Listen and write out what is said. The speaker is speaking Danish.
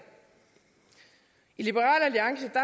i de